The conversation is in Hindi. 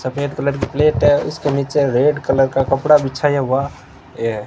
सफेद कलर की प्लेट है। इसके नीचे रेड कलर का कपड़ा बिछाया हुआ--